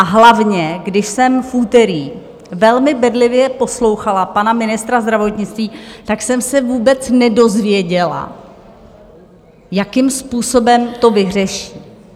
A hlavně, když jsem v úterý velmi bedlivě poslouchala pana ministra zdravotnictví, tak jsem se vůbec nedozvěděla, jakým způsobem to vyřeší.